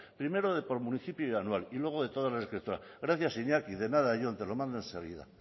primero de por municipio y anual y luego de todas gracias iñaki de nada jon te lo mando enseguida